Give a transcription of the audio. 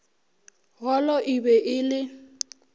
golo e be e le